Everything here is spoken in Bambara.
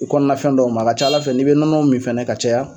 I kɔnɔna fɛn dɔw ma, a ka ca Ala fɛ n'i bɛ nɔnɔ min fɛnɛ ka caya,